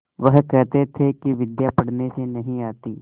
वह कहते थे कि विद्या पढ़ने से नहीं आती